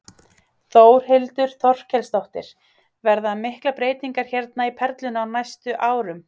Þórhildur Þorkelsdóttir: Verða miklar breytingar hérna í Perlunni á næstu árum?